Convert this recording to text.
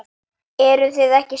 Eruð þið ekki saman?